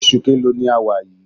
Oṣù keèlo ni a wà yìí?